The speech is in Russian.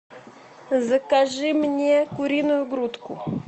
закажи мне куриную грудку